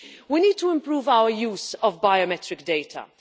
We need to improve our use of biometric data.